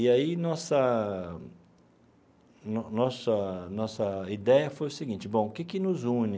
E aí nossa no nossa nossa ideia foi o seguinte, bom, o que que nos une